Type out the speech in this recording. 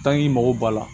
i mago b'a la